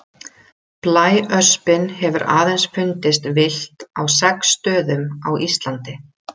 Blæöspin hefur aðeins fundist villt á sex stöðum á Íslandi.